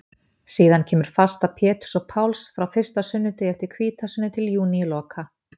Síðan kemur fasta Péturs og Páls frá fyrsta sunnudegi eftir hvítasunnu til júníloka.